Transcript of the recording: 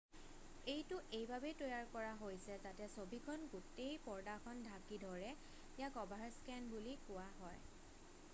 এইটো এইবাবেই তৈয়াৰ কৰা হৈছে যাতে ছবিখনে গোটেই পৰ্দাখন ঢাকি ধৰে ইয়াক অভাৰস্কেন বুলি কোৱা হয়